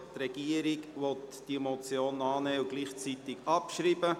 Die Regierung will diese Motion annehmen und gleichzeitig abschreiben.